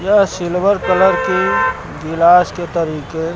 यह silver colour की गिलास के तरीके--